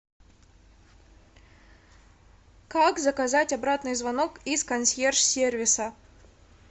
как заказать обратный звонок из консьерж сервиса